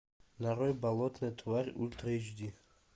нарой болотная тварь ультра эйч ди